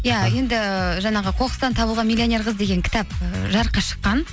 иә енді жаңағы қоқыстан табылған миллионер қыз деген кітап і жарыққа шыққан